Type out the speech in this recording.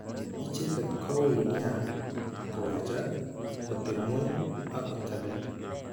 Icheket ko ui nia ko wechak, kotep ng'weny ak kotelel.